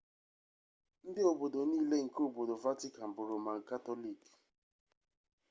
ndị obodo niile nke obodo vatican bụ roman katọlik